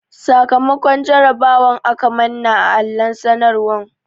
Sakamakon jarabawar mu aka manna a allon sanarwan.